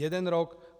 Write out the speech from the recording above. Jeden rok.